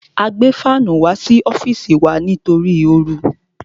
A gbé fánù wá sí ọ́fìsì wá sí wa nítorí oru.